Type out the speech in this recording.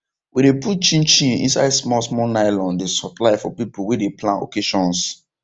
we de put chin chin inside small small nylon dey supply for people wey de plan occasions